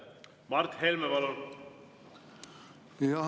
Mart Helme, palun!